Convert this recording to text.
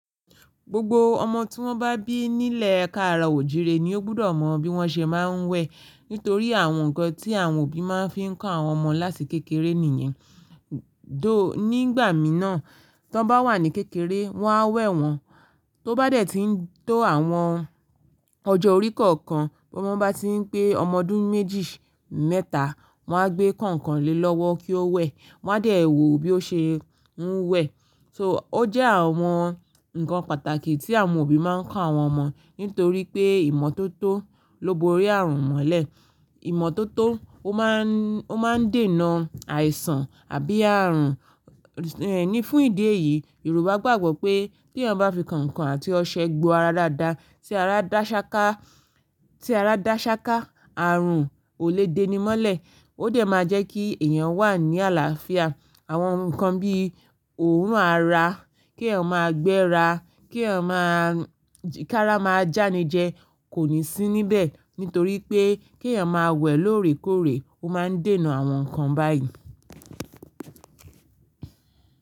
Gbogbo ọmọ tí wọ́n bá bí nílẹ̀ káàro òjire ni ó gbúdọ̀ mọ bí wọ́n ṣe máa ń wẹ̀. Nítorí àwọn nǹkan tí àwọn òbí máa ń fi kọ́ àwọn ọmọ láti kékeré nìyẹn. Dóò, nígbà mìíràn, tí wọ́n bá wà ní kékeré, wọ́n á wẹ̀ wọ́n. Tó bá dẹ̀ tí ń tó àwọn ọjọ́ orí kọ̀ọ̀kan, bí wọ́n bá ti ń pé ọmọ ọdún méjì, mẹ́ta, wọ́n á gbé kọ̀ǹkọ̀ǹ lé lọ́wọ́ kí ó wẹ̀. Wọ́n á dẹ̀ wò bí ó ṣe ń wẹ̀. So ó jẹ́ àwọn nǹkan pàtàkì tí àwọn òbí máa ń kọ́ àwọn ọmọ nítorí pé ìmọ́tótó ló borí ààrùn mọ́lẹ̀. Ìmọ́tótó ó máa ń, ó máa ń dènà àìsàn àbí ààrùn. Ẹni fún ìdí èyí, Yorùbá gbàgbọ́ pé tí ẹni bá fi kọ̀ǹkọ̀ǹ àti ọṣẹ gbo ara dáadáa, tí ara dá ṣáká, tí ara dá ṣáká, ààrùn ò lè déni mọ́lẹ̀. Ó dẹ̀ máa jẹ́ kí èèyàn wà ní àlàáfíà. Àwọn nǹkan bí òrun ara, kí ẹyam máa gbẹ́ra, kí ẹ máa-- kára máa jáani jẹ kò ní sí níbẹ̀. Nítorí pé kí ẹ̀yàn máa wẹ̀ lóòrèkóòrè, ó máa ń dènà àwọn nǹkan báyìí.